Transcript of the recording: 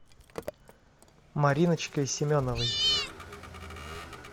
мариночкой семеновой